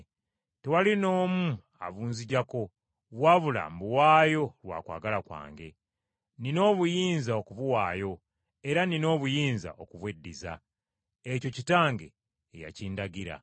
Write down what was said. Tewali n’omu abunzigyako, wabula mbuwaayo lwa kwagala kwange. Nnina obuyinza okubuwaayo, era nnina obuyinza okubweddizza. Ekyo Kitange ye yakindagira.”